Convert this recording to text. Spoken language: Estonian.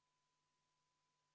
Jõudu tööle komisjonides, kohtume homme!